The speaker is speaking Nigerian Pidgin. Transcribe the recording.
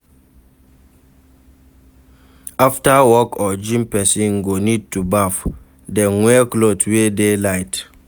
After work or gym person go need to baff then wear cloth wey det light